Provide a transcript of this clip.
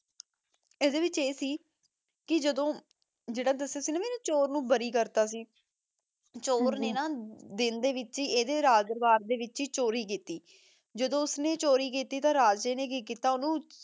ਆਦੀ ਵਿਚ ਆਯ ਸੀ ਕੇ ਜਦੋਂ ਜੇਰਾ ਮੈਂ ਦਸ੍ਯ ਸੀ ਨਾ ਕੇ ਚੋਰ ਨੂ ਬਾਰੀ ਕਰ ਦਿਤਾ ਸੀ ਚੋਰ ਨਯਾ ਨਾ ਦਿਨ ਦੇ ਵਿਚ ਏਡੇ ਰਾਜ ਦਰਬਾਰ ਦੇ ਵਿਚ ਈ ਚੋਰੀ ਕੀਤੀ ਜਦੋਂ ਓਸਨੇ ਚੋਰੀ ਕੀਤੀ ਤਾਂ ਰਾਜੇ ਨੇ ਕੀ ਕੀਤਾ ਓਨੁ